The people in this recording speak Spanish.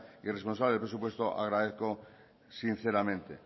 y responsable de los presupuestos agradezco sinceramente